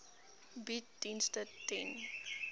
bied dienste ten